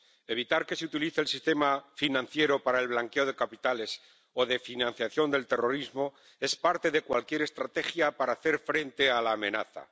Evitar que se utilice el sistema financiero para el blanqueo de capitales o de financiación del terrorismo es parte de cualquier estrategia para hacer frente a la amenaza.